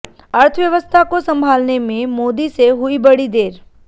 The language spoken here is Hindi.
अर्थव्यवस्था को संभालने में मोदी से हुई बड़ी देर